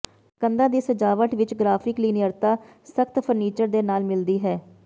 ਕੰਧਾਂ ਦੀ ਸਜਾਵਟ ਵਿੱਚ ਗ੍ਰਾਫਿਕ ਲੀਨੀਅਰਤਾ ਸਖਤ ਫ਼ਰਨੀਚਰ ਦੇ ਨਾਲ ਮਿਲਦੀ ਹੈ